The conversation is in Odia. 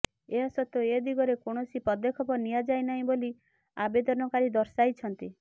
ଏହା ସତ୍ତ୍ବେ ଏ ଦିଗରେ କୌଣସି ପଦକ୍ଷେପ ନିଆଯାଇନାହିଁ ବୋଲି ଆବେଦନକାରୀ ଦର୍ଶାଇଛନ୍ତି